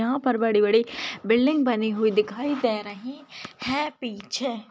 यहां पर बड़ी बड़ी बिल्डिंग बनी हुई दिखाई दे रही है पीछे।